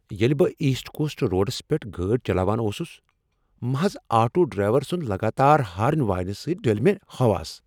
ییٚلہِ بہٕ east coast roads پیٹھ گٲڈۍ چلاوان اوسُس محض آٹو ڈرائیور سنٛد لگاتار ہارن واینہ سۭتۍ ڈلۍ مےٚ حواس۔